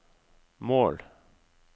mål